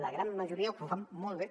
la gran majoria que ho fan molt bé